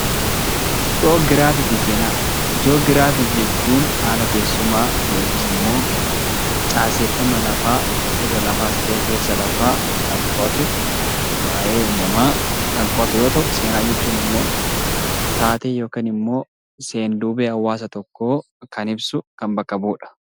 Jii'oogiraafii jechuun haala teessumaa yookiin immoo caaseffama lafaa irra lafaas ta'ee keessa lafaa kan qo'atu waayee uumamumaa kan qo'atu yoo ta'u, seenaan immoo taatee yookiin seenduubee hawaasa tokkoo kan ibsu kan bakka bu'udha.